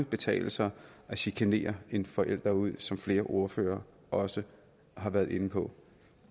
betale sig at chikanere en forælder ud som flere ordførere også har været inde på